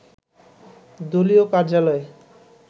দলীয় কার্যালয়ে